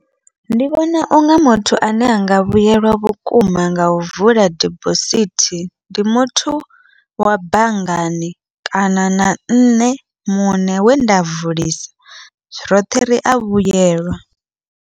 Ndi vhona unga muthu ane anga vhuyelwa vhukuma ngau vula dibosithi, ndi muthu wa banngani kana na nṋe muṋe wenda vulisa roṱhe ria vhuyelwa.